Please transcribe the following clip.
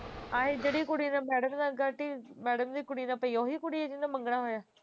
ਐਹੀ ਜਿਹੜੀ ਕੁੜੀ ਨਾਲ madam ਨਾਲ ਗਾਟੀ madam ਦੀ ਕੁੜੀ ਨਾਲ ਪਈ ਹੈ ਉਹ ਹੀ ਕੁੜੀ ਹੈ ਜਿਸ ਨਾਲ ਮੰਗਣਾ ਹੋਇਆ